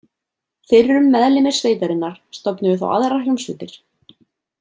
Fyrrum meðlimir sveitarinnar stofnuðu þá aðrar hljómsveitir.